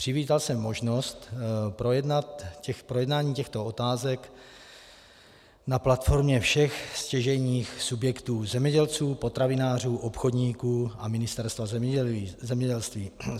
Přivítal jsem možnost projednání těchto otázek na platformě všech stěžejních subjektů - zemědělců, potravinářů, obchodníků a Ministerstva zemědělství.